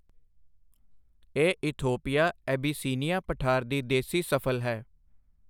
ਇਹ Ethiopia Abyssinia ਪਠਾਰ ਦੀ ਦੇਸੀ ਸਫਲ ਹੈ।